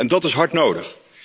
En dat is hard nodig!